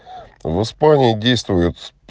в испании действует